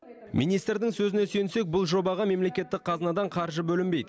министрдің сөзіне сүйенсек бұл жобаға мемлекеттік қазынадан қаржы бөлінбейді